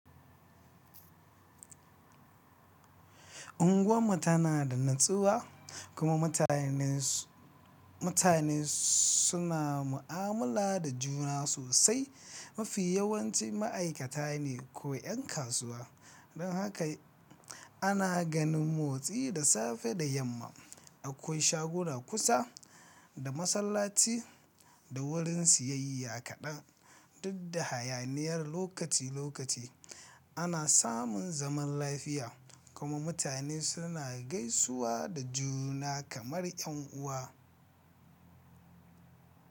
Unguwar mu tana da natsuwa kuma mutanensu Mutane su na mu'amula da juna sosai, mafi yawanci ma'aikata ne ko 'yan kasuwa. Don haka ana ganin motsi da safe da yamma. Akwai shaguna kusa da masallaci da wurin siyayya kaɗan Duk da hayaniyar lokaci-lokaci Ana samun zaman lafiya kuma mutane suna gaisuwa da juna kamar 'yan uwa.